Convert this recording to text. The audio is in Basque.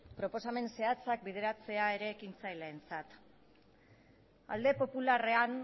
alde popularrean